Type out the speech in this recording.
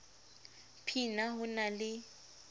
p na ho na le